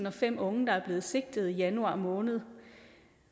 og fem unge der er blevet sigtet i januar måned